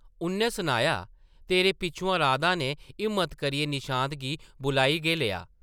उʼन्नै सनाया, तेरे पिच्छुआं राधा नै हिम्मत करियै निशांत गी बुलाई गै लेआ ।